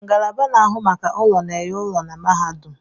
Ngalaba na-ahụ maka ụlọ na-enye ụlọ na mahadum